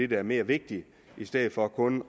der er mere vigtigt i stedet for kun